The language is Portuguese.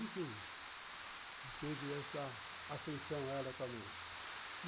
Enfim, teve essa ascensão a ela também.